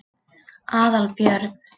Aðalbjörn